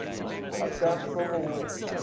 afghan civil war